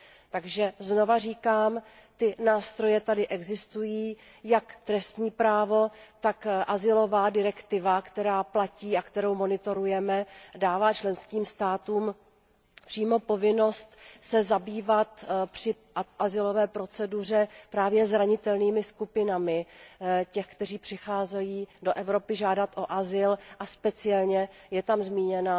Takže znova říkám, ty nástroje tady existují, jak trestní právo, tak azylová direktiva, která platí, kterou monitorujeme a která dává členským státům přímo povinnost se zabývat při azylové proceduře právě zranitelnými skupinami těch, kteří přicházejí do Evropy žádat o azyl, a speciálně je tam zmíněna